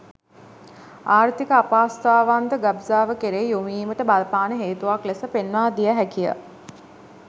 ආර්ථික අපහසුතාවන් ද ගබ්සාව කෙරෙහි යොමු වීමට බලපාන හේතුවක් ලෙස පෙන්වා දිය හැකිය.